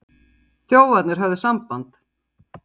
Þjófarnir höfðu samband.